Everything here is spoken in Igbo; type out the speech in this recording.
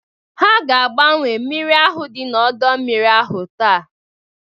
A ga agbanwe mmiri ahụ dị n'ọdọ mmiri ahụ TAA.